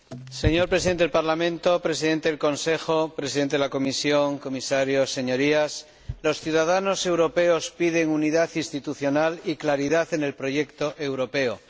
Señor Presidente del Parlamento, señor Presidente del Consejo, señor Presidente de la Comisión, Comisarios, Señorías, los ciudadanos europeos piden unidad institucional y claridad en el proyecto europeo.